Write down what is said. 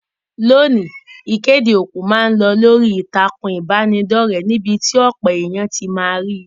Loni, ìkéde òkú ma n lo lórí ìtàkùn ìbánidọ́rẹ̀ níbí ti ọ̀pọ̀ éyàn ti ma ri